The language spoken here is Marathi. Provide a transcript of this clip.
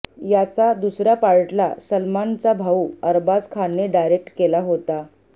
याचा दुसऱ्या पार्टला सलमानचा भाऊ अरबाज खानने डायरेक्ट केला होता